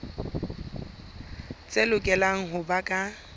tse lokelang ho ba ka